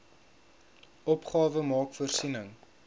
opgawe maak voorsiening